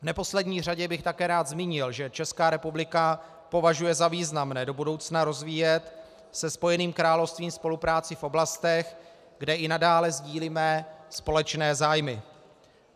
V neposlední řadě bych také rád zmínil, že Česká republika považuje za významné do budoucna rozvíjet se Spojeným královstvím spolupráci v oblastech, kde i nadále sdílíme společné zájmy.